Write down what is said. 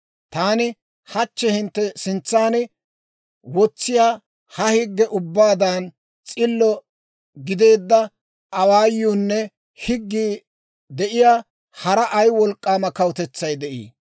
Taani hachchi hintte sintsan wotsiyaa ha higge ubbaadan s'illo gideedda awaayuunne higgii de'iyaa hara ay wolk'k'aama kawutetsay de'ii?